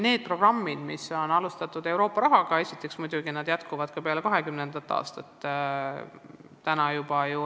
Programmid, mida alustati Euroopa rahaga, muidugi jätkuvad ka peale 2020. aastat.